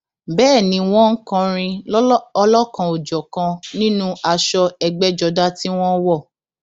bẹẹ ni wọn ń kọrin ọlọkanòjọkan nínú aṣọ ẹgbẹjọdá tí wọn wọ